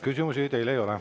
Küsimusi teile ei ole.